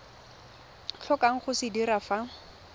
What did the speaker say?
tlhokang go se dira fa